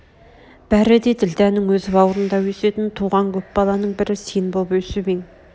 бәрі де ділдәның өз бауырында өсетін туған көп баланың бірі сен боп өсіп ең